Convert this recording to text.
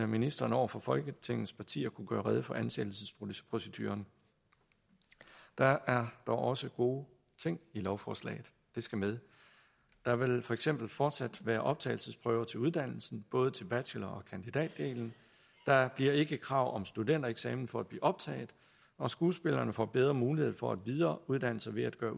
ministeren over for folketingets partier kunne gøre rede for ansættelsesproceduren der er dog også gode ting i lovforslaget det skal med der vil for eksempel fortsat være optagelsesprøver til uddannelsen både til bachelor og kandidatdelen der bliver ikke krav om studentereksamen for at blive optaget og skuespillerne får bedre mulighed for at videreuddanne sig ved at